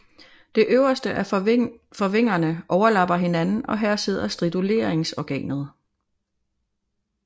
Det øverste af forvingerne overlapper hinanden og her sidder striduleringsorganet